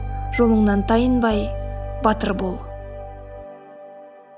жолыңнан тайынбай батыр бол